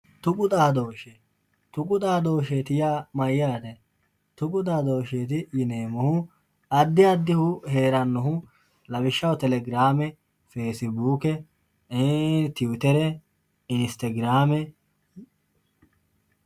Tuqu xaadoshshe, tuqu xaadosheti yaa mayyate ,tuqu xaadosheti yineemmohu addi addihu heeranohu lawishshaho television telegirame fasibuke tiwutere, instegirame.